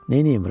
Neynim?